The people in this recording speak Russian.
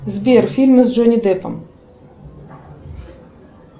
сбер фильмы с джонни деппом